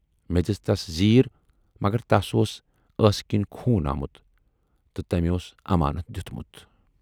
مے دِژ تس زیٖر مگر تس اوس ٲسہٕ کِنۍ خوٗن آمُت تہٕ تٔمۍ اوس امانت دٮُ۪تمُت۔